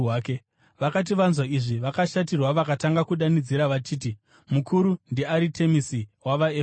Vakati vanzwa izvi, vakashatirwa vakatanga kudanidzira vachiti, “Mukuru ndiAritemisi wavaEfeso!”